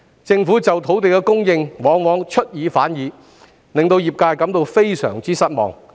政府在土地供應方面往往出爾反爾，令業界感到非常失望。